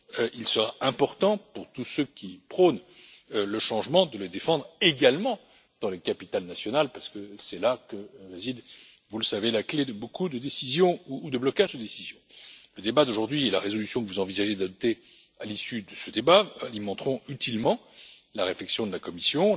Il sera important, pour tous ceux qui prônent le changement, de le défendre également dans les capitales nationales, parce que c'est là que réside, vous le savez, la clé de beaucoup de décisions ou de blocages de décisions. Le débat d'aujourd'hui et la résolution que vous envisagez d'adopter à son issue alimenteront utilement la réflexion de la Commission.